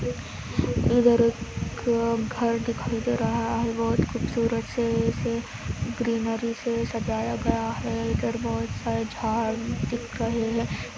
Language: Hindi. इधर एक घर दिखाए दे रहे है हर बहुत कूप सूरज हे ऐसे ग्रीनरी से सजाया गया हे इधर बहुत जाड दिख रही हे --